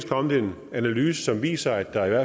kommet en analyse som viser at der